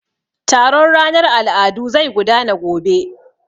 Taron ranar al'adu zai gudana gobe.